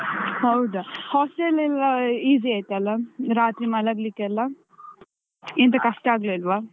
ಹೌದಾ, hostel ಎಲ್ಲ easy ಆಯ್ತಲ್ಲ? ರಾತ್ರಿ ಮಲಗ್ಲಿಕ್ಕೆ ಎಲ್ಲಾ ಎಂತ ಕಷ್ಟ ಆಗ್ಲಿಲ್ವಾ?